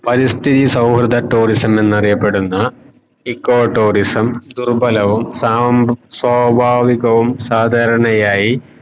പരിസ്ഥിതി സൗഹൃദ tourism എന്നറിയപ്പെടുന്ന eco tourism ദുർബലവും സാം സ്വാഭികവും സാദാരണയായി